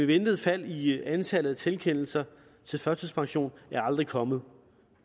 ventede fald i antallet af tilkendelser til førtidspension er aldrig kommet